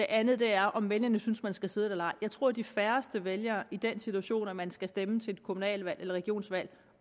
andet er om vælgerne synes man skal sidde der eller ej jeg tror de færreste vælgere i den situation hvor man skal stemme til et kommune eller regionsvalg